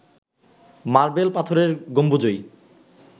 marble পাথরের গম্বুজই